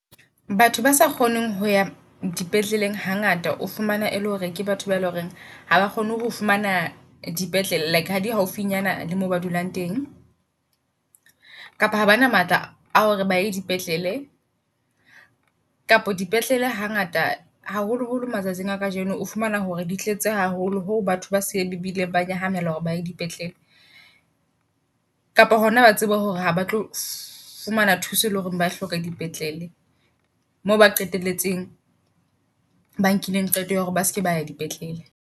Batho ba sa kgoneng ho ya dipetleleng ha ngata o fumana e le hore ke batho ba le horeng haba kgone ho fumana di petlele. Like ha di haufinyana le mo ba dulang teng kapa ha bana matla ao re ba e dipetlele. Kapa dipetlele ha ngata haholo holo matsatsing a kajeno o fumana hore di tletse haholo ho batho ba se bileng ba nyahamela hore baye di petlele. Kapa hona ba tsebe hore ha ba tlo fumana thuso, e leng hore ba hloka dipetlele. Moo ba qetelletseng ba nkileng qeto ya hore ba seke ba ya dipetlele.